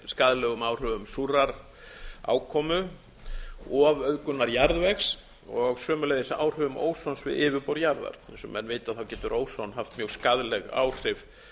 skaðlegum áhrifum súrrar ákomu ofauðgunar jarðvegs og sömuleiðis áhrifum ósons við yfirborð jarðar eins og menn vita getur óson haft mjög skaðleg áhrif